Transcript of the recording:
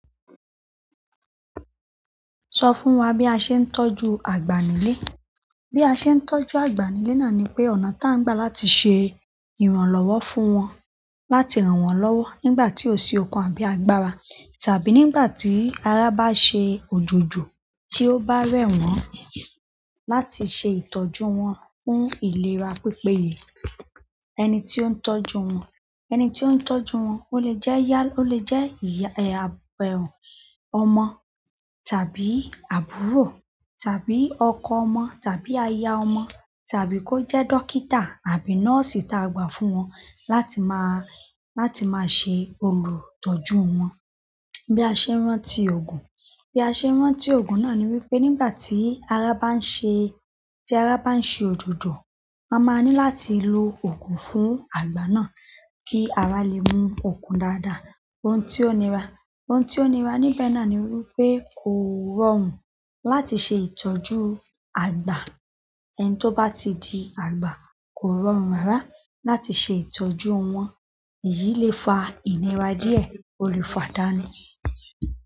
Sọ fún wa bí a ṣe ń tọ́jú àgbà nílé. Bí a ṣe ń tọ́jú àgbà nílé náà ni pé, ọ̀nà tí à ń gbà láti ṣe ìrànlọ́wọ́ fún wọn, láti ràn wọ́n lọ́wọ́ nígbà tí ó ṣe ọkàn àbí agbára, tàbí nígbà tí ara bá ṣe òjòjò tí ó bá rẹ̀ wọ́n, láti ṣe ìtọ́jú wọn fún ìlera pípéye. Ẹni tí ó ń tọ́jú wọn, ẹni tí ó ń tọ́jú wọn o lè jẹ́ ìyá, o lè jẹ́ ìyá ẹ-- àbẹ̀rùn ọmọ, tàbí àbúrò, tàbí ọkọ ọmọ, tàbí aya ọmọ, tàbí kó jẹ́ dókítà àbí nọ́ọ̀sì tí a gbà fún wọn láti máa, láti máa ṣe olùtọ́jú wọn. Bí a ṣe ń rántí òògùn, bí a ṣe ń rántí òògùn náà ni wípé nígbà tí ara bá ń ṣe, tí ara bá ń ṣe òjòjò, a máa ní láti lo òògùn fún àgbà náà kí ara lè mú òògùn dáadáa. Ohun tí ó nira, ohun tí ó nira níbẹ̀ náà ni wípé kò rọrùn láti ṣe ìtọ́jú àgbà. Ẹni tó bá ti di àgbà kò rọrùn rárá láti ṣe ìtọ́jú wọn. Èyí lè fa ìlera díẹ̀, o lè fa dání.